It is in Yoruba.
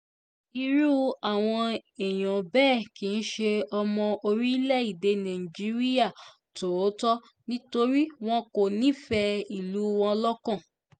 irú àwọn èèyàn bẹ́ẹ̀ kì í ṣe ọmọ orílẹ̀-èdè nàìjíríà tòótọ́ torí wọn kò nífẹ̀ẹ́ ìlú wọn lọ́kàn